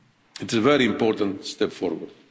It's a very important step forward.